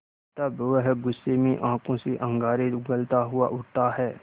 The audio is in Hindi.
तब वह गुस्से में आँखों से अंगारे उगलता हुआ उठता है